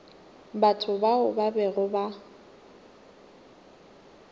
batho bao ba bego ba